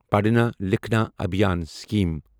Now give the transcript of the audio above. پڑھنا لکھنا ابھیان سِکیٖم